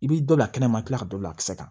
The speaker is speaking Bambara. I b'i dɔ kɛnɛ ma i kila ka don lakisɛ kan